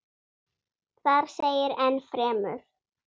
Þar segir enn fremur